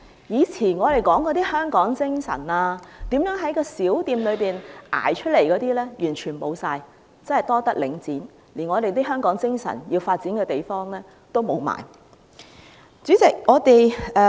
以前我們說的香港精神，如何在小店熬出頭的事全部消失，真是多得領展，連發揮香港精神的地方都消失了。